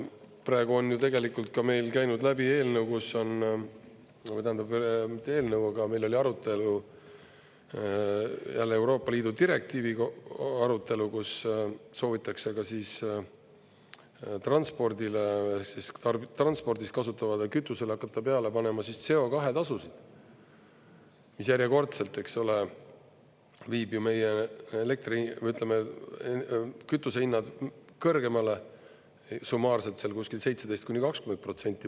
Praegu on ju tegelikult ka meil käinud läbi eelnõu, kus on, tähendab, mitte eelnõu, aga meil oli arutelu, jälle Euroopa Liidu direktiivi arutelu, kus soovitakse transpordile, transpordis kasutatavale kütusele hakata peale panema CO2-tasusid, mis järjekordselt viib meie kütusehinnad kõrgemale summaarselt seal kuskil 17–20%.